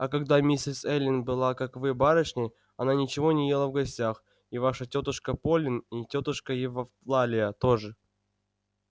а когда мисс эллин была как вы барышней она ничего не ела в гостях и ваша тётушка полин и тётушка евлалия тоже